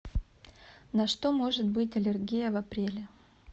на что может быть аллергия в апреле